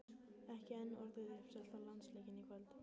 Ekki enn orðið uppselt á landsleikinn í kvöld?